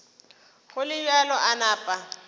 go le bjalo a napa